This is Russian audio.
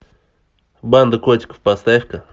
банда котиков поставь ка